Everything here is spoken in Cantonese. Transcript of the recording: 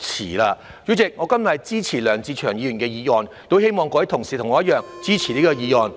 代理主席，我今天支持梁志祥議員的議案，亦希望各位同事和我一樣，支持這項議案。